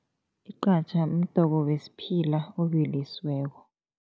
Igqatjha mdoko wesiphila obilisiweko.